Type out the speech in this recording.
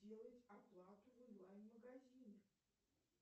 сделать оплату в онлайн магазине